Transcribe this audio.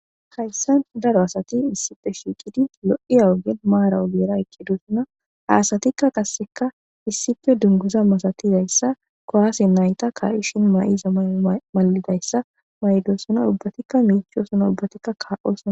Hayssan daro asati issife shiiqidi lo7iya ogen maara ogeera ekkedussana haasatikka kasseka issife dunguza masatizayssa koaase nayta karishin ma7iza malidayssa ma7idosona ubbatikka miichosona obbatikka kaa7osa.